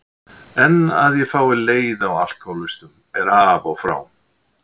En að ég fái leiða á alkohólistum er af og frá.